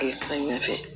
Samiya fɛ